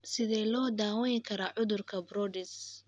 Sidee loo daweyn karaa cudurka Brodys